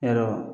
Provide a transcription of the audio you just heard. Yarɔ